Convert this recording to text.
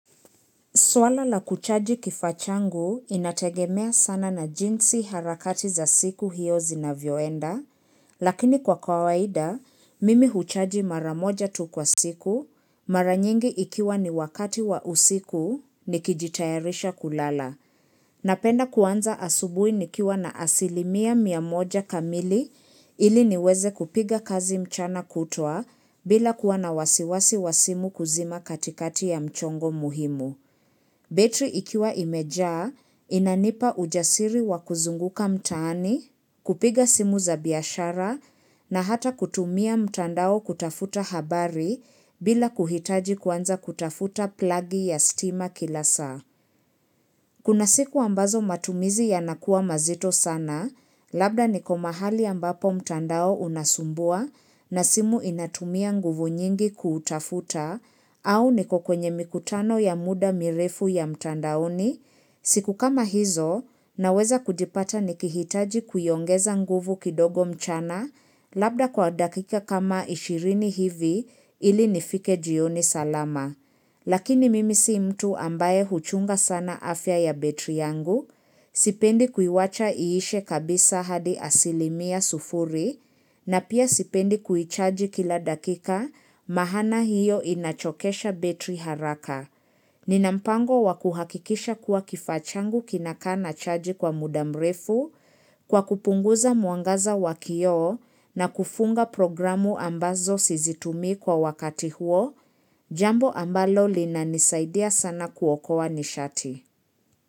Swala la kuchaji kifaa changu inategemea sana na jinsi harakati za siku hiyo zinavyoenda, lakini kwa kawaida, mimi huchaji mara moja tu kwa siku, mara nyingi ikiwa ni wakati wa usiku, nikijitayarisha kulala. Napenda kuanza asubui nikiwa na asilimia mia moja kamili ili niweze kupiga kazi mchana kutwaa bila kuwa na wasiwasi wa simu kuzima katikati ya mchongo muhimu. Betri ikiwa imejaa inanipa ujasiri wa kuzunguka mtaani, kupiga simu za biashara na hata kutumia mtandao kutafuta habari bila kuhitaji kwanza kutafuta plagi ya stima kila saa. Kuna siku ambazo matumizi yanakuwa mazito sana, labda niko mahali ambapo mtandao unasumbua na simu inatumia nguvu nyingi kutafuta au niko kwenye mikutano ya muda mirefu ya mtandaoni, siku kama hizo naweza kujipata nikihitaji kuiongeza nguvu kidogo mchana labda kwa dakika kama ishirini hivi ili nifike jioni salama. Lakini mimi si mtu ambaye huchunga sana afya ya betri yangu, sipendi kuiwacha iishe kabisa hadi asilimia sufuri na pia sipendi kuichaji kila dakika mahana hiyo inachokesha betri haraka. Ninampango wa kuhakikisha kuwa kifaa changu kinakaa na chaji kwa muda mrefu kwa kupunguza mwangaza wa kio na kufunga programu ambazo sizitumi kwa wakati huo, jambo ambalo linanisaidia sana kuokowa nishati.